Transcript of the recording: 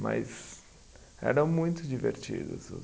Mas eram muito divertidos os.